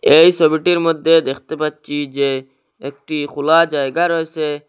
এই সবিটির মধ্যে দেখতে পাচ্ছি যে একটি খোলা জায়গা রইসে।